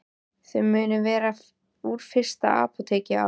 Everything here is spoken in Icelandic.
Þau munu vera úr fyrsta apóteki á